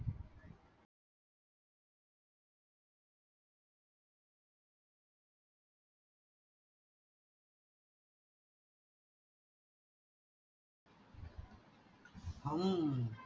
हम्म